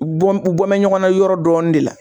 Bɔ u bɔ bɛn ɲɔgɔnna yɔrɔ dɔɔni de la